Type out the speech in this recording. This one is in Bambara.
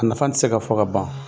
A nafa tɛ se ka fɔ ka ban.